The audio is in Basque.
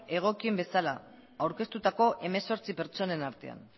egokien bezala aurkeztutako hemezortzi pertsonen artean